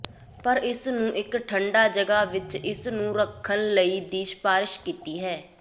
ਪਰ ਇਸ ਨੂੰ ਇੱਕ ਠੰਡਾ ਜਗ੍ਹਾ ਵਿੱਚ ਇਸ ਨੂੰ ਰੱਖਣ ਲਈ ਦੀ ਸਿਫਾਰਸ਼ ਕੀਤੀ ਹੈ